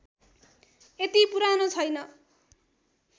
यति पुरानो छैन